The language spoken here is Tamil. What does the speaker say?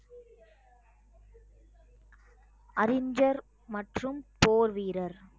அறிஞர் மற்றும் போர் வீரர்